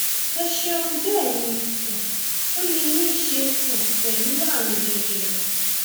ẹ ṣeun bẹẹ ni um ó lè ní í ṣe um pẹlú ààrùn jẹjẹrẹ